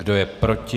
Kdo je proti?